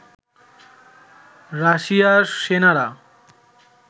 রাশিয়ার সেনারা